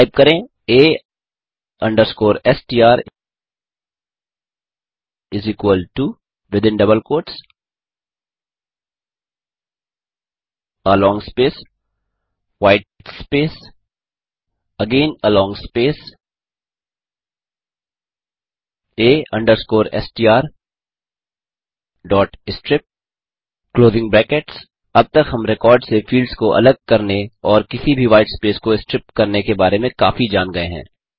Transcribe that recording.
type करें a str white space a strstrip अब तक हम रिकॉर्ड से फील्ड्स को अलग करने और किसी भी व्हाईट स्पेस को स्ट्रिप करने के बारे में काफी जान गये हैं